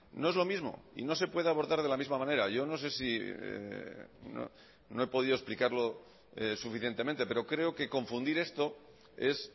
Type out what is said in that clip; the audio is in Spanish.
no es lo mismo y no se puede abordar de la misma manera yo no sé si no he podido explicar suficientemente pero creo que confundir esto es